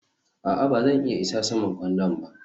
a'a, ba zan iya isa saman kwandon ba